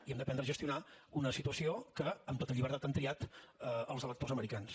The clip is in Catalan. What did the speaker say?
i hem d’aprendre a gestionar una situació que amb tota llibertat han triat els electors americans